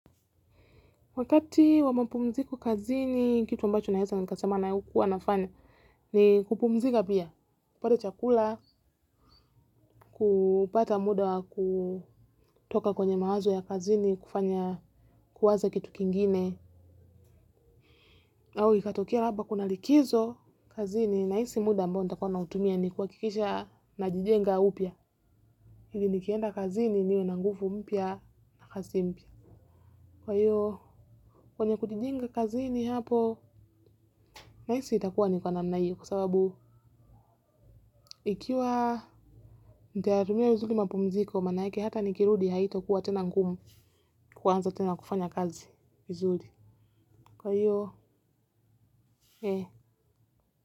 Wakati wamapumziko kazini, kitu amba cho naeza ni kasemana ya huku wanafanya, ni kupumzika pia, kupata chakula, kupata muda wa kutoka kwenye mawazo ya kazini, kufanya kuwaza kitu kingine, au ikatokea labda kunalikizo kazini, na hisi muda ambao nitakua nautumia ni kuhakikisha najijenga upia. Ili nikienda kazini niwe na ngufu mpya na kazi mpya. Kwa hiyo kwenye kujijenga kazini hapo nahisi itakuwa ni kwa namna hio kwasababu ikiwa ndia hurumia uzuli mapumziko maan yake hata nikirudi haito kuwa tena ngumu kuanza tena kufanya kazi vizuli kwa hiyo e.